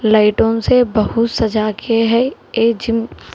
लाइटों से बहुत सजा के है ये जिम ।